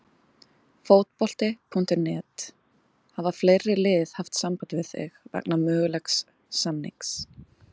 Fótbolti.net: Hafa fleiri lið haft samband við þig vegna mögulegs samnings?